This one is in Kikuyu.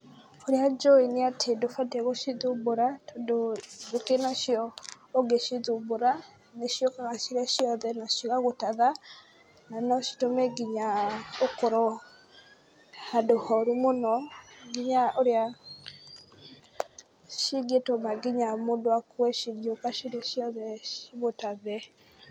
Ũrĩa njũĩ nĩ atĩ ndũbatiĩ gũcithumbũra tondũ njũkĩ nacio ũngĩcithumbũra nĩciũkaga cirĩ ciothe na cigagũtatha, na no citũme nginya ũkorwo handũ horu mũno nginya ũrĩa cingĩtũma nginya mũndũ akue cingĩũka cirĩ ciothe cigũtathe.